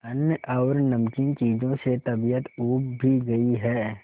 अन्न और नमकीन चीजों से तबीयत ऊब भी गई है